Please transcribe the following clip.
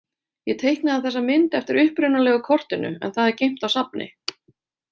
Ég teiknaði þessa mynd eftir upprunalega kortinu en það er geymt á safni.